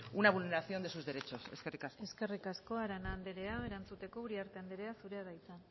una vulneración de sus derechos eskerrik asko eskerrik asko arana andrea erantzuteko uriarte andrea zurea da hitza